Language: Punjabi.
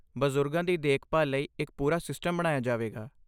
ਬਜ਼ੁਰਗਾਂ ਦੀ ਦੇਖਭਾਲ ਲਈ ਇੱਕ ਪੂਰਾ ਸਿਸਟਮ ਬਣਾਇਆ ਜਾਵੇਗਾ।